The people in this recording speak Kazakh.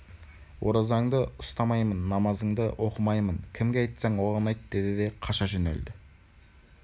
оразаңды ұстамаймын намазыңды оқымаймын кімге айтсаң оған айт деді де қаша жөнелді